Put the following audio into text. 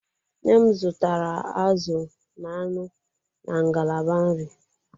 Nne m zụtara azụ na anụ na ngalaba nri.